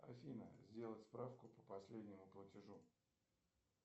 афина сделать справку по последнему платежу